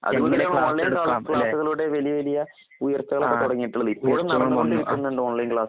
Online ക്ലാസ്സുകളോടെ വലിയവലിയ ഉയർച്ചകളൊക്കെതുടങ്ങീട്ടുള്ളത്. ഇപ്പോഴും നടന്ന്കൊണ്ടിരിക്കുന്നുണ്ട്